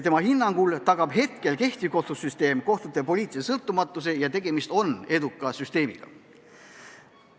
Tema hinnangul tagab praegune kohtusüsteem kohtute poliitilise sõltumatuse, tegemist on hea süsteemiga.